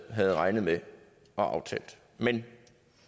havde regnet med og aftalt men